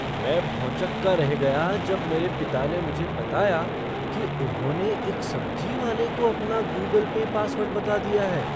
मैं भौंचक्का रह गया जब मेरे पिता ने मुझे बताया कि उन्होंने एक सब्जी वाले को अपना गूगल पे पासवर्ड बता दिया है।